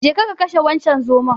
Jeka ka kashe wancen zomon.